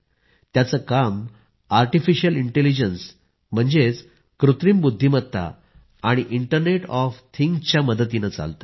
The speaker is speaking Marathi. याचं काम आर्टिफिशियल इंटेलिजन्स म्हणजेच कृत्रिम बुद्धिमत्ता आणि इंटरनेट ऑफ थिंग्सच्या मदतीनं चालतं